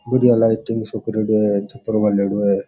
बढ़िया लाइटिन्ग सा करेडो है चित्र बनेडो है।